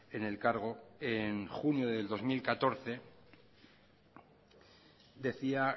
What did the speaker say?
en el cargo en junio del dos mil catorce decía